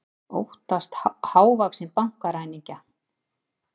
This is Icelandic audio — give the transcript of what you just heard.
Óttast hávaxinn bankaræningja